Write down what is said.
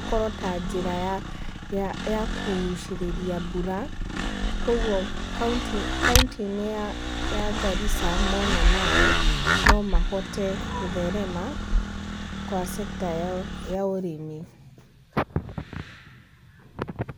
ĩkorwo ta njĩra ya kũgucĩrĩria mbura. Koguo kaũntĩ-inĩ ya Garissa mona maaĩ, nomahote gũtherema, kwa sector ya ũrĩmi.